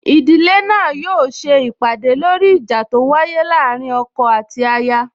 Ìdílé náà yóò se ìpàdè lóri ìjà tó wáyé láàrín ọkọ àti aya